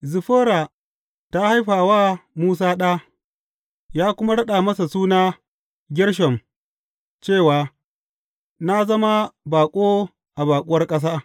Ziffora ta haifi wa Musa ɗa, ya kuma raɗa masa suna Gershom cewa, Na zama baƙo a baƙuwar ƙasa.